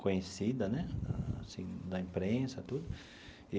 conhecida né assim da imprensa tudo.